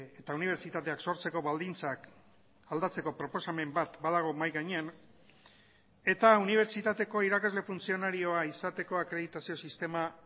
eta unibertsitateak sortzeko baldintzak aldatzeko proposamen bat badago mahai gainean eta unibertsitateko irakasle funtzionarioa izateko akreditazio sistema